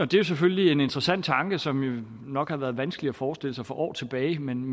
det selvfølgelig er en interessant tanke som nok har været vanskelig at forestille sig for år tilbage men